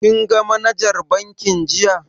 Kin ga manajar bankin jiya?